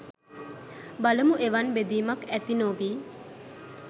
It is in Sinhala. බලමු එවන් බෙදීමක් ඇති නොවී